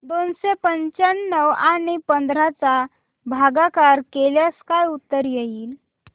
दोनशे पंच्याण्णव आणि पंधरा चा भागाकार केल्यास काय उत्तर येईल